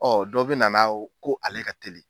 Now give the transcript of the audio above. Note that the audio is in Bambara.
dɔ bɛ nana ye ko ale ka teli.